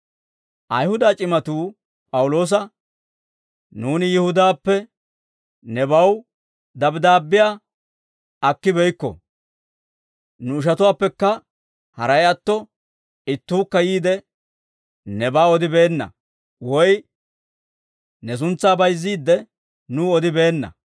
Ayihuda c'imatuu P'awuloosa, «Nuuni Yihudaappe nebaw dabddaabbiyaa akkibeykko. Nu ishatuwaappekka haray atto, ittuukka yiide, nebaa odibeenna; woy ne suntsaa bayizziide, nuw odibeenna.